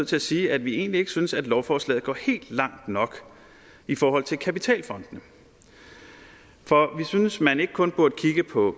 til at sige at vi egentlig ikke synes at lovforslaget går helt langt nok i forhold til kapitalfondene for vi synes at man ikke kun burde kigge på